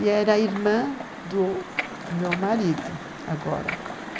E era irmã do meu marido, agora.